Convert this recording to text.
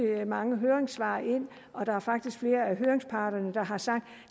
mange høringssvar ind og der er faktisk flere af høringsparterne der har sagt